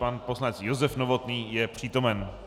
Pan poslanec Josef Novotný je přítomen.